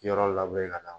Yɔrɔ labɛn ka na